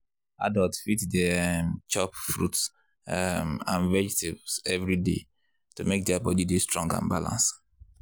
adults fit dey um chop fruit um and vegetables every day to make their body dey strong and balance.